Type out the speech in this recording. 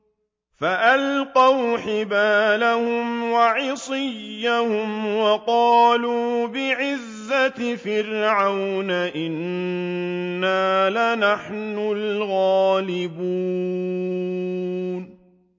فَأَلْقَوْا حِبَالَهُمْ وَعِصِيَّهُمْ وَقَالُوا بِعِزَّةِ فِرْعَوْنَ إِنَّا لَنَحْنُ الْغَالِبُونَ